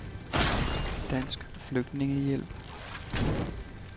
Dansk Flygtningehjælp